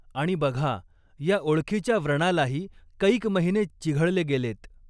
आणि बघा, या ओळखीच्या व्रणालाही कैक महिने चिघळले गेलेत.